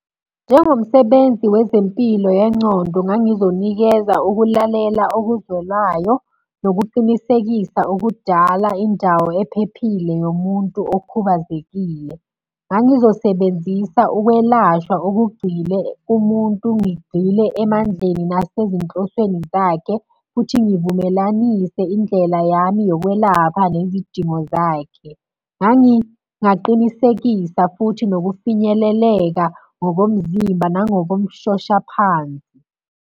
Njengomsebenzi wezempilo yencondo ngangizonikeza ukulalela okuzwelayo, nokuqinisekisa ukudala indawo ephephile yomuntu okhubazekile. Ngangizosebenzisa ukwelashwa okugxile kumuntu ngigxile emandleni nasezinhlosweni zakhe, futhi ngivumelanise indlela yami yokwelapha nezidingo zakhe. Ngangingaqinisekisa futhi nokufinyeleleka ngokomzimba nangokomshosha phansi.